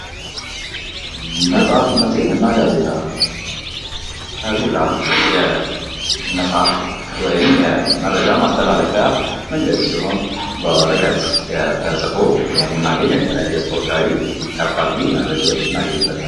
መጽሃፍት መጽሄት እና ጋዜጣ ።ጋዜጣ የመጽሐፍት ወይም የመረጃ ማስተላለፊያ መንገድ ሲሆን በወረቀውት ተጽፎ የምናገኘው የተለያየ የስፖርታዊ፣ የአፋልጉኝ መረጃዎችን እናገኝበታለን።